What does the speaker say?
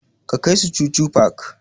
Ka kai su chuchu park!